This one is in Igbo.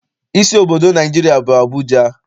Isi obodo Naịjirịa bụ Abụja.